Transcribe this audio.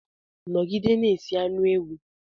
Nọgide na-esi anu ewu!